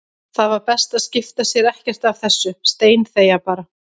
Það var best að skipta sér ekkert af þessu, steinþegja bara.